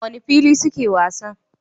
A wane fili suke wasan?